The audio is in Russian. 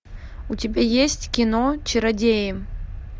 у тебя есть кино чародеи